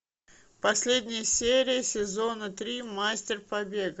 последняя серия сезона три мастер побега